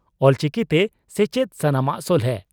ᱚᱞᱪᱤᱠᱤᱛᱮ ᱥᱮᱪᱮᱫ ᱥᱟᱱᱟᱢᱟᱜ ᱥᱚᱞᱦᱮ